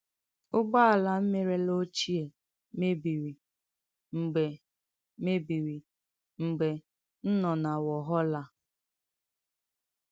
Ụgbọ̀álà m merèlà ochie, mèbìrì mgbe mèbìrì mgbe m nọ na Wàlhàllà.